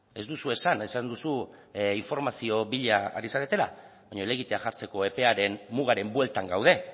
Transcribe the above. ez duzu esan esan duzu informazio bila ari zaretela baina helegitea jartzeko epearen mugaren bueltan gaude